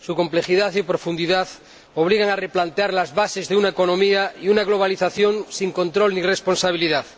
Su complejidad y profundidad obligan a replantear las bases de una economía y de una globalización sin control ni responsabilidad.